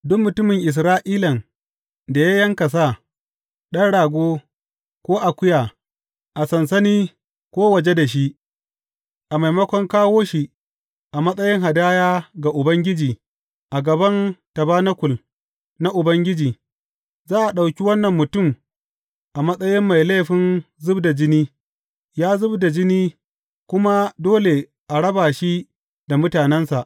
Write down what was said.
Duk mutumin Isra’ilan da ya yanka sa, ɗan rago ko akuya a sansani ko waje da shi a maimakon kawo shi a matsayin hadaya ga Ubangiji a gaban tabanakul na Ubangiji, za a ɗauki wannan mutum a matsayi mai laifin zub da jini, ya zub da jini, kuma dole a raba shi da mutanensa.